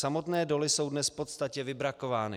Samotné doly jsou dnes v podstatě vybrakovány.